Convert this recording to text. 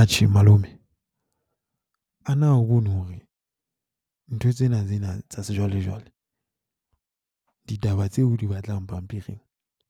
Atjhe malome, ana a bone hore ntho tsena tsena tsa sejwalejwale, ditaba tseo o di batlang pampiring